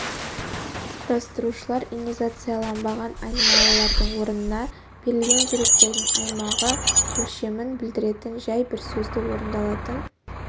құрастырушылар инизациацияланбаған айнымалылардың орнына берілген деректердің аймағы өлшемін білдіретін жай бір сөзді орындалатын